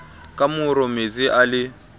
ka moro metsi a le